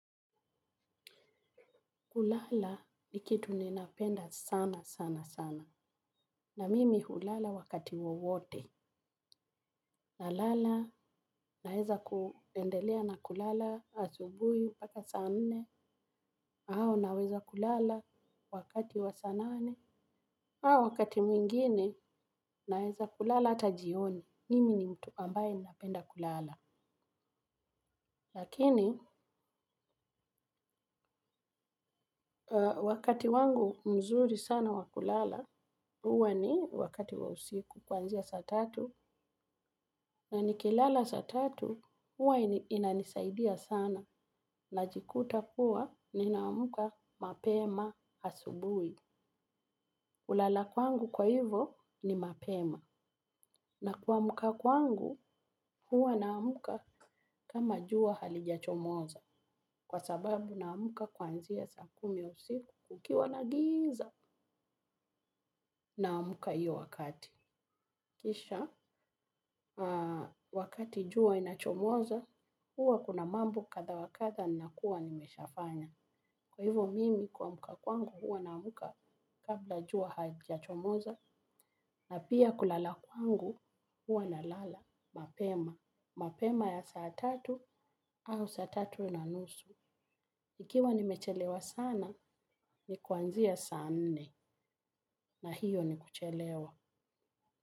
Kulala ni kitu ninapenda sana sana sana. Na mimi hulala wakati wowote. Na lala naweza kuendelea na kulala asubuhi mpaka saa nne. Au naweza kulala wakati wa saa nane. Au wakati mwingine naweza kulala ata jioni. Mimi ni mtu ambaye ninapenda kulala. Lakini wakati wangu mzuri sana wakulala. Uwa ni wakati wa usiku kuanzia saa tatu. Na nikilala saa tatu huwa inanisaidia sana najikuta kuwa nina amka mapema asubuhi kulala kwangu kwa hivo ni mapema na kuamka kwangu huwa naamka kama jua halijachomoza. Kwa sababu naamka kuanzia sa kumi usiku kukiwa na giza naamka hiyo wakati. Kisha, wakati jua inachomoza, huwa kuna mambo kadha wakadha nina kuwa nimeshafanya. Kwa hivyo mimi kuamka kwangu huwa na amka kabla jua haija chomoza na pia kulala kwangu huwa na lala mapema. Mapema ya saa tatu au saa tatu na nusu. Ikiwa nimechelewa sana ni kuanzia saa nne na hiyo ni kuchelewa.